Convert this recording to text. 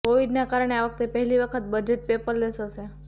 કોવિડના કારણે આ વખતે પહેલી વખત બજેટ પેપરલેસ હશે